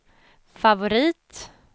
favorit